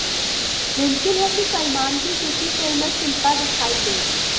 मुमकिन है कि सलमान की किसी फिल्म में शिल्पा दिखाई दें